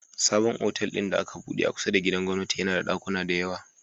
Sabon otal din da aka buɗe a kusa da gidan gwamnati yAna da dakuna da yawa